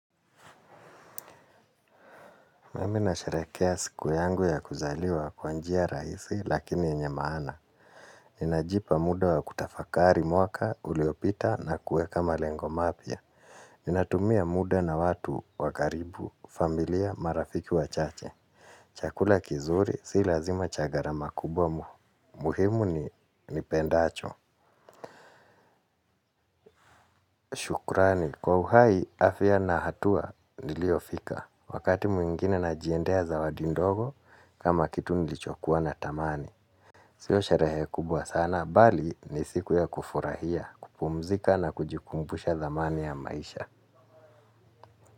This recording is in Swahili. Mimi na sharekea siku yangu ya kuzaliwa kwanjia raisi lakini yenye maana. Ninajipa muda wa kutafakari mwaka uliopita na kueka ma lengomapia. Nina tumia muda na watu wakaribu, familia, marafiki wa chache. Chakula kizuri si lazima cha gharama kubwa muhimu nipendacho. Shukrani, kwa uhai afia na hatua nilio fika. Wakati mwingine na jiendea zawadi ndogo kama kitu nilichokuwa na tamani. Sio sherehe kubwa sana, bali ni siku ya kufurahia, kupumzika na kujikumbusha thamani ya maisha.